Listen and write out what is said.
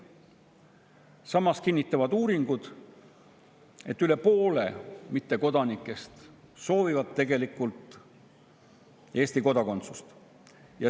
Samas kinnitavad uuringud, et üle poole mittekodanikest soovivad tegelikult Eesti kodakondsust.